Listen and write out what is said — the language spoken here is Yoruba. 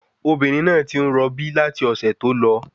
Obìnrin náà tí ń rọ bí láti ọ̀sẹ̀ tó lọ